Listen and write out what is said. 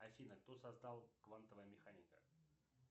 афина кто создал квантовая механика